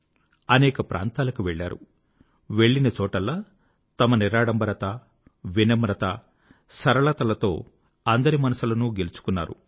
అనేక ప్రాంతాలకు వెళ్ళారు వెళ్ళినచోటల్లా తమ నిరాడంబరత వినమ్రత సరళత లతో అందరి మనసులను గెలుచుకున్నారు